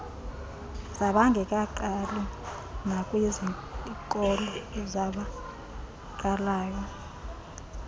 zabangekaqali nakwiizikolo zabaqalayo